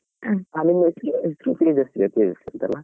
ಹಾ ಎಷ್ಟ್ ಹೊತ್ಗೆ